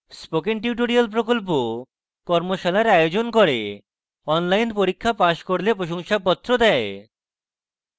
spoken tutorial প্রকল্প কর্মশালার আয়োজন করে online পরীক্ষা পাস করলে প্রশংসাপত্র দেয়